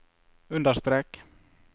understrek